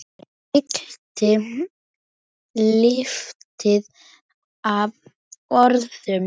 Fyllti loftið af orðum.